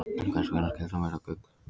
En hvers vegna skyldi hún vera gul?